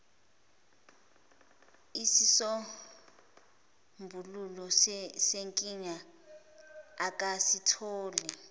isisombululo senkinga akakasitholi